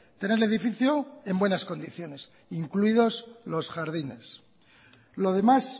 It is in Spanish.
tener el edificio en buenas condiciones incluidos los jardines lo demás